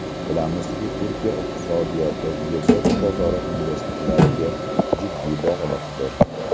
Bilamizki, Turkiya iqtisodiyoti Yevropa bozori investorlariga jiddiy bog‘liqdir.